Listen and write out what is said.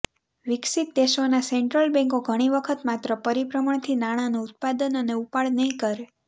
વિકસિત દેશોના સેન્ટ્રલ બેન્કો ઘણી વખત માત્ર પરિભ્રમણથી નાણાંનું ઉત્પાદન અને ઉપાડ નહીં કરે